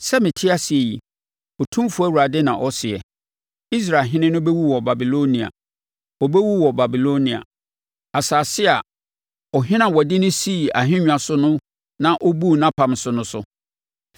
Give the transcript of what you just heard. “ ‘Sɛ mete ase yi, Otumfoɔ Awurade na ɔseɛ, Israelhene no bɛwu wɔ Babilonia. Ɔbɛwu wɔ Babilonia, asase a ɔhene ɔde no sii ahendwa so na ɔbuu nʼapam so no so.